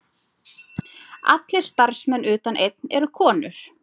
Allir starfsmenn utan einn eru konur